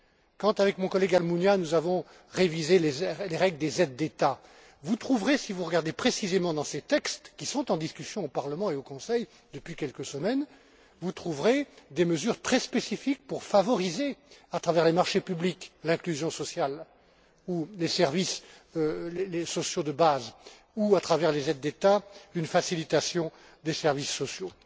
quand, avec mon collègue Almunia, nous avons révisé les règles des aides d'État, vous trouverez, si vous regardez précisément dans ces textes, qui sont en discussion au Parlement et au Conseil depuis quelques semaines, des mesures très spécifiques pour favoriser, à travers les marchés publics, l'inclusion sociale ou les services sociaux de base ou à travers les aides d'État, une facilitation des services sociaux.